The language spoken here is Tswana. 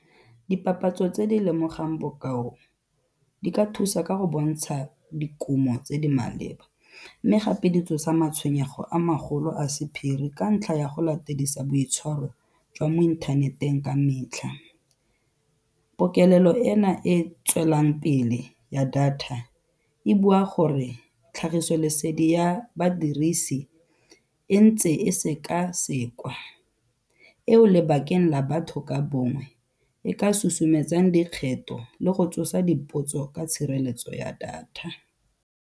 Dipapatso tse di lemogang bokao di ka thusa ka go bontsha dikumo tse di maleba mme gape di tsosa matshwenyego a magolo a sephiri ka ntlha ya go latedisa boitshwaro jwa mo inthaneteng ka metlha. Pokelelo ena e tswelang pele ya data, e bua gore tlhagisolesedi ya badirisi e ntse e seka-sekwa, eo lebakeng la batho ka bongwe e ka susumetsang dikgetho le go tsosa dipotso ka tshireletso ya data.